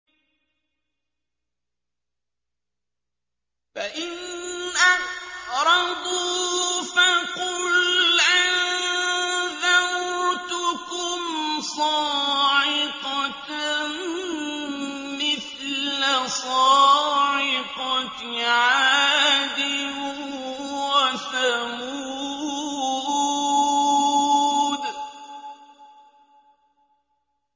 فَإِنْ أَعْرَضُوا فَقُلْ أَنذَرْتُكُمْ صَاعِقَةً مِّثْلَ صَاعِقَةِ عَادٍ وَثَمُودَ